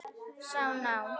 Sá ná